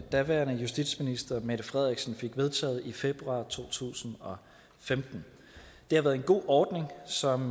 daværende justitsminister mette frederiksen fik vedtaget i februar to tusind og femten det har været en god ordning som